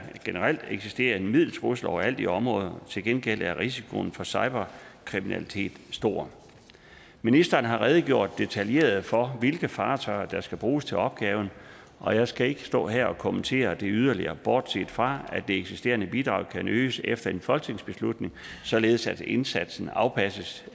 generelt eksisterer en mild trussel overalt i området til gengæld er risikoen for cyberkriminalitet stor ministeren har redegjort detaljeret for hvilke fartøjer der skal bruges til opgaven og jeg skal ikke stå her og kommentere det yderligere bortset fra at det eksisterende bidrag kan øges efter en folketingsbeslutning således at indsatsen afpasses